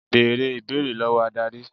Bẹ̀rẹ̀ ìbéèrè lọ́wọ́ Ádárì.